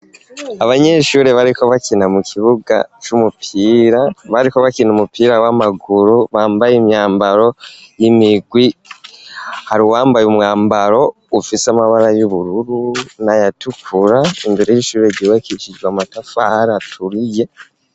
Abanyeshuri bariko bakina mu kibuga c'umupira, bariko bakina umupira w'amaguru bambaye imyambaro y'imigwi, hari uwambaye umwambaro ufise amabara y'ubururu nay'atukura, imbere y'ishuri ryubakishijwe amatafari aturiye.